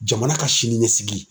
Jamana ka siniɲɛsigi.